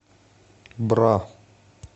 бра